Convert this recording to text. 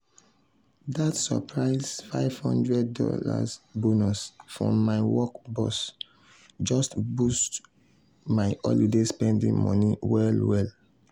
that surprise five hundred dollars bonus from my work boss just boost my holiday spending money well well.